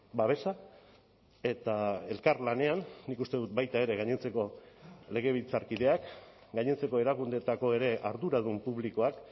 babesa eta elkarlanean nik uste dut baita ere gainontzeko legebiltzarkideak gainontzeko erakundeetako ere arduradun publikoak